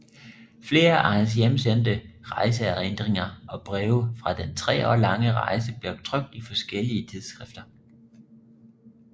Flere af hans hjemsendte rejseerindringer og breve fra den tre år lange rejse blev trykt i forskellige tidsskrifter